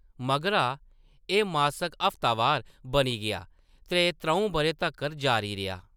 मगरा, एह्‌‌ मासक हफ्तावार बनी गेआ ते त्र'ऊं बʼरें तक्कर जारी रेहा।